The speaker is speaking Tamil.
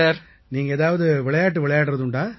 நீங்கள் ஏதாவது விளையாட்டு விளையாடுவதுண்டா